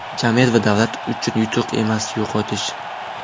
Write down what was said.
Jamiyat va davlat uchun yutuq emas, yo‘qotish.